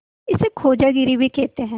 इसे खोजागिरी भी कहते हैं